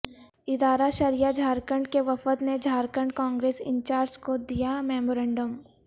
ادارہ شرعیہ جھارکھنڈ کے وفد نے جھارکھنڈ کانگریس انچارج کو دیامیمورنڈم